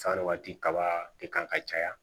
San waati kaba de kan ka caya